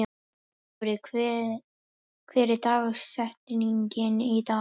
Dofri, hver er dagsetningin í dag?